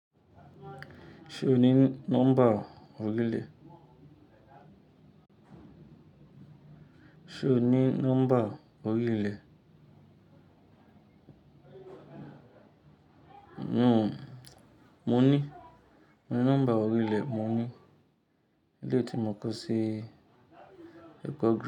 Ṣé o ní nọ́mbà orílẹ̀? Ṣé o ní nọ́mbà orílẹ̀? N-n-n ò, mo ní, mo ní nọ́mbà orílẹ̀, mo ní. Eleyii ti mo kó sí ẹ̀kọ́ gíga.